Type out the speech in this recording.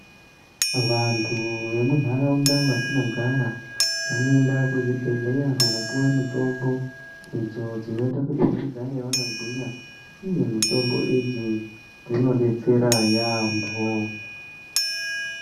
Vantu vemundaraunda matinogara vanoenda kuzvibhedhlera kopuwe mitombo idzi dzinoita kuti vagare vakagwinya uye mitombo idzi dzinodetsera yamho.